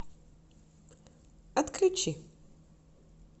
отключи